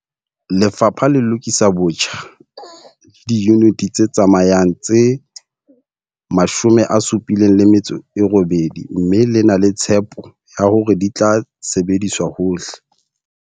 Lefapha le lokisa botjha diyuniti tse tsamayang tse 78 mme le na le tshepo ya hore di tla sebediswa hohle.